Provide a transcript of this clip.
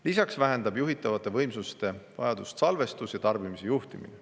Lisaks vähendab juhitavate võimsuste vajadust salvestus ja tarbimise juhtimine.